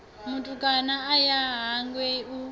mutukana a ya hangei hu